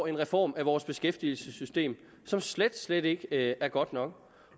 en reform af vores beskæftigelsessystem som slet slet ikke er godt nok